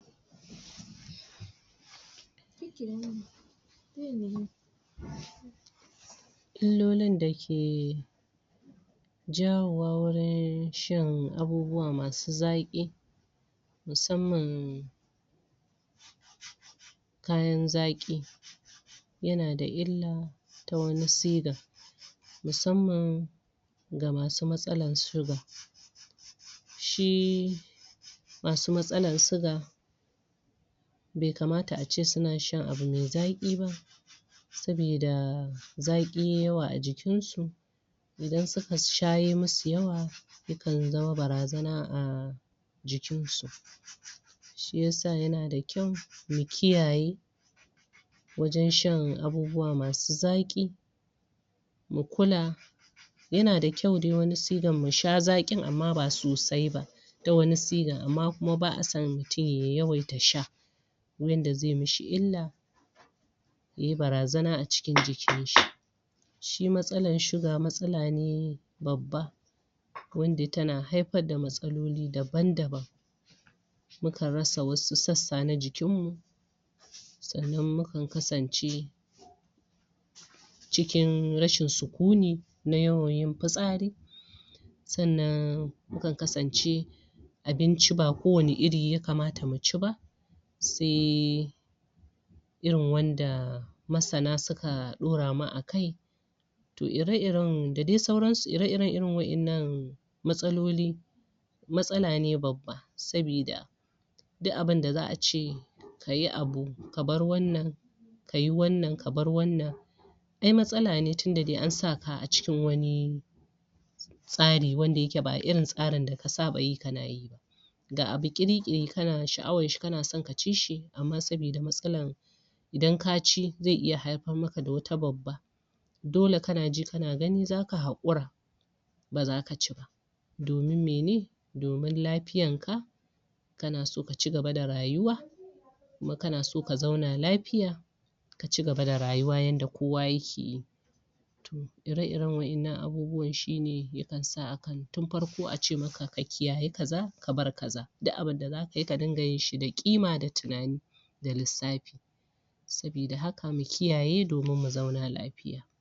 Illolin da ke jawowa wurin shan abubuwa masu zaƙi musamman kayan zaƙi yana da illa ta wani sigan musamman ga masu matsalan shuga shi masu matsalan siga be kamata a ce suna shan abu me zaƙi ba sabida zaƙi yai yawa a jikin shi idan suka sha yai musu yawaya kan zama barazara a jikin su shi yasa yana da kyau mu kiyaye wajen shan abubuwa masu zaƙi mu kula yana da kyau dai wani sigan mu sha zaƙin amma ba sosai ba ta wani sigan amma kuma ba'a son mutun ya yawaita sha yanda zai mishi illa yai barazana a cikin jikin shi shi matsalan shuga matsala ne babba wanda tana haifar da matsaloli daban-daban mu kan rasa wasu sassa na jikin mu sannan mu kan kasance cikin rashin sukuni na yawan yin fitsari sannan mu kan kasance abinci ba kowani iri yakamata mu ci ba se irin wanda masana suka ɗora mu akai to ire-iren da dai sauran su, ire-iren irin waƴannan matsaloli matsala ne babba sabida duk abinda za'a ce kayi abu ka bar wannan kayi wannan ka bar wannan ai matsala ne tunda dai an saka a cikin wani tsari wanda yake ba irin tsarin da ka saba yi kana yi ga abu ƙiri-ƙiri kana sha'awan shi, kana son ka ci shi amma sabida matsalan idan ka ci, zai iya haifar maka da wata babba dole kana ji kana gani zaka haƙura ba zaka ci ba domin mene, domin lafiyan ka kana so ka cigaba da rayuwa kuma kana so ka zauna lafiya ka cigaba da rayuwa yanda kowa yake yi ire-iren waƴannan abubuwan shi ne ya kan sa tun farko a ce maka ka kiyaye kaza, ka bar kaza, duk abinda zaka yi ka dinga yin shi da ƙima da tunani da lissafi sabida haka mu kiyaye domin mu zauna lafiya.